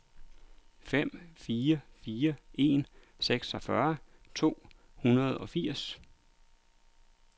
fem fire fire en seksogfyrre to hundrede og firs